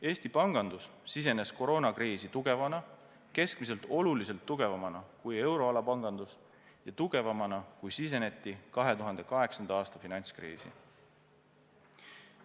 Eesti pangandus sisenes koroonakriisi tugevana, keskmiselt oluliselt tugevamana kui euroala pangandus ja tugevamana, kui siseneti 2008. aasta finantskriisi.